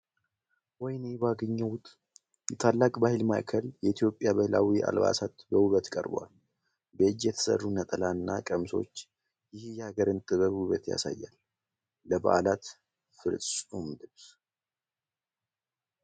ወይኔ ባገኘሁት ! የታላቅ ባህል ማዕከል! የኢትዮጵያ ባህላዊ አልባሳት በውበት ቀርበዋል! በእጅ የተሰሩ ነጠላ እና ቀሚሶች! ይህ የሀገርን የጥበብ ውበት ያሳያል! ለበዓላት ፍጹም ልብስ!